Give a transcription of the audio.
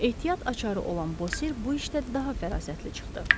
Ehtiyat açarı olan Bosir bu işdə daha fərasətli çıxdı.